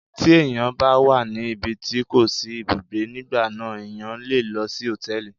Tí ẹ̀yàn bá wà ní ibi tí kò ti sí ibùgbé, nígbà náà ẹ̀yàn le lọ sí Hòtẹ́lìì.